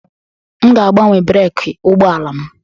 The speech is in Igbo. M ga-agbanwe breeki ụgbọ ala m